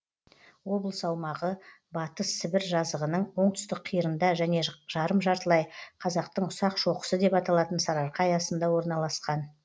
облыс аумағы батыс сібір жазығының оңтүстік қиырында және жарым жартылай қазақтың ұсақ шоқысы деп аталатын сарыарқа аясында орналасқан